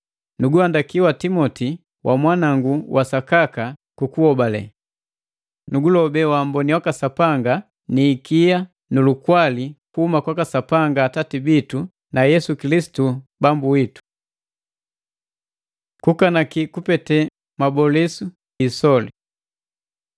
Nuguhandaki wa Timoti wa mwanangu wa sakaka wa hobalelu. Nukulobe wamboni waka Sapanga, ikia nu lukwali kuhuma kwaka Sapanga Atati bitu na Yesu Kilisitu Bambu Witu. Kukanaki kupete mabolisu gi isoli